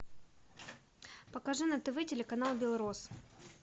покажи на тв телеканал белрос